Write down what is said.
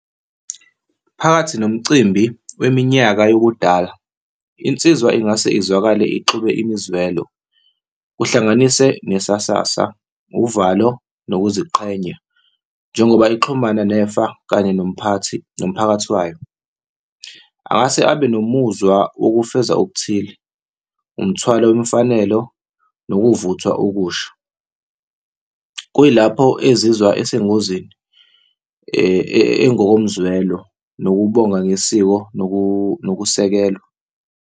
Phakathi nomcimbi weminyaka yokudala, insizwa ingase izwakale ixube imizwelo, kuhlanganise nesasasa, uvalo nokuziqhenya, njengoba ixhumana nefa kanye nomphathi, nomphakathi wayo. Angase abe nomuzwa wokufeza okuthile umthwalo wemfanelo nokuvuthwa okusha, kuyilapho ezizwa esengozini engokomzwelo nokubonga ngesiko nokusekelwa.